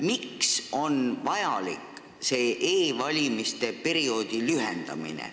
Miks on vaja e-valimiste perioodi lühendada?